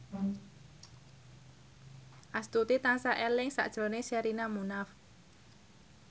Astuti tansah eling sakjroning Sherina Munaf